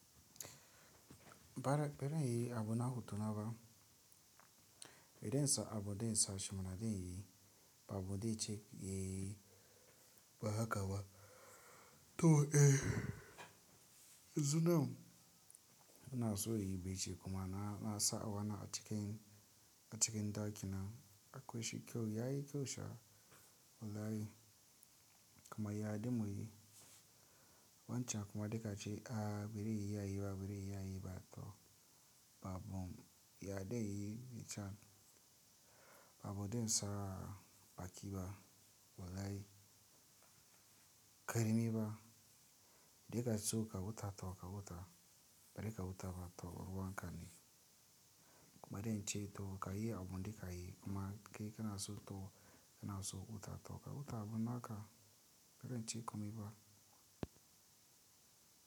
Baraɓɓero yayi abun na hutu nawa, idan sa abun da insa shi ma na dain yayi, ba abun da ice yayi ba haka ba. To eh, yanzu nan ana so yayi bacci kuma na, na sa'a wani a cikin, a cikin ɗaki na akwai shi kyau yayi kyau sha, wallahi. Kuma ya dumi yayi. Wancan kuma duk ice a biri yayi ba biri yayi ba to ba abun ya dain yayi bacci ba. Ba abun da insa baƙi ba, wallahi. Karami ba. Duk ice to kawu ta to kawu ta bari kawu ta ba to warwanka ne. Kuma dain ce to ka yi abun duka yi kuma kai kana so to kana so kawu ta to kawu ta abun naka dain ce kuma yi ba.